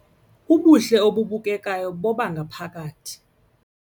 Ubuhle obubukekayo bobangaphakathi.